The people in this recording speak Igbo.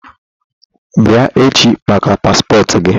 Bịa echi maka paspọtụ gi!